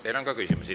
Teile on ka küsimusi.